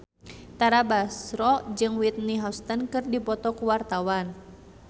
Tara Basro jeung Whitney Houston keur dipoto ku wartawan